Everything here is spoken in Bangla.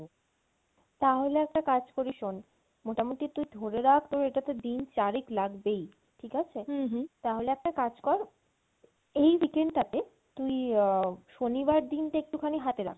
তাহলে একটা কাজ করি শোন মোটামটি তুই ধরে রাখ তোর এটাতে দিন চারেক লাগবেই ঠিক আছে? তাহলে একটা কাজ কর এই weekend টা তে তুই আহ শনিবার দিনটা একটুখানি হাতে রাখ